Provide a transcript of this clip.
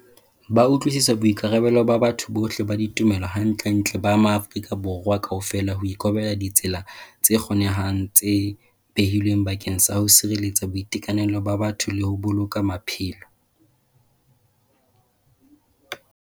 Ba utlwisisa boikarabelo ba batho bohle ba ditumelo hantlentle ba maAfrika Borwa kaofela ho ikobela ditsela tse kgonehang tse behilweng bakeng sa ho sireletsa boitekanelo ba batho le ho boloka maphelo.